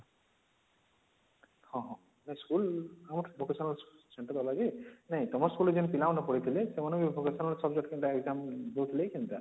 ହଁ ହଁ ନାଇଁ school ଆମର vocational centre ଅଲଗା ଜେ ନାଇଁ ତମର school ରେ ଯେନ ପିଲାମାନେ ପଡ଼ିଥିଲେ ସେମାନଙ୍କର ବି vocational subject exam ଦଉଥିଲେ କେନ୍ତା